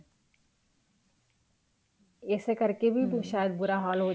ਇਸੇ ਕਰਕੇ ਵੀ ਸ਼ਾਇਦ ਬੁਰਾ ਹਾਲ ਹੋ ਚੁੱਕਿਆ ਹੈ